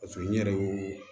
Paseke n yɛrɛ y'o